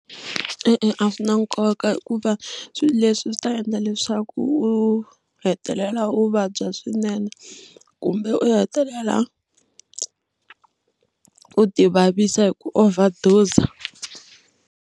E-e, a swi na nkoka hikuva swilo leswi swi ta endla leswaku u hetelela u vabya swinene kumbe u hetelela u ti vavisa hi ku overdose.